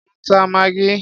Mò ń ta maggi.